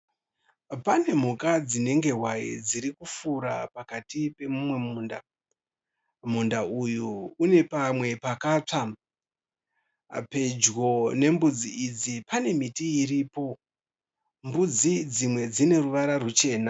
Pane mhuka dzinenge hwai dzirikufura pakati pemumwe munda. Munda uyu une pamwe pakatsva. Pedyo nembudzi idzi pane miti iripo. Mbudzi dzimwe dzineruvara ruchena.